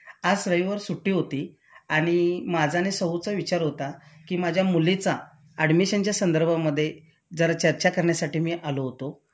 आज रविवार सुट्टी होती आणि माझा आणि सौ चा विचार होता कि माझ्या मुलीचा ऍडमिशन च्या संदर्भामध्ये जरा चर्चा करण्यासाठी मी आलो होतो